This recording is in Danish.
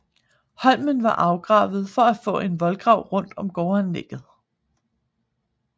Holmen var afgravet for at få en voldgrav rundt om gårdanlægget